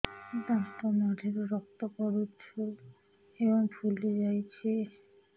ଦାନ୍ତ ମାଢ଼ିରୁ ରକ୍ତ ପଡୁଛୁ ଏବଂ ଫୁଲି ଯାଇଛି